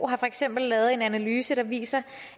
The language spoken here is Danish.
har for eksempel lavet en analyse der viser